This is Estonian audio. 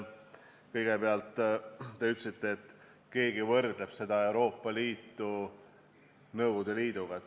Kõigepealt te ütlesite, et keegi võrdleb Euroopa Liitu Nõukogude Liiduga.